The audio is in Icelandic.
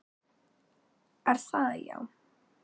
Er það já?